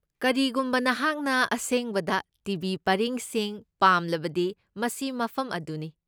ꯀꯔꯤꯒꯨꯝꯕ ꯅꯍꯥꯛꯅ ꯑꯁꯦꯡꯕꯗ ꯇꯤ.ꯚꯤ. ꯄꯔꯤꯡꯁꯤꯡ ꯄꯥꯝꯂꯕꯗꯤ ꯃꯁꯤ ꯃꯐꯝ ꯑꯗꯨꯅꯤ꯫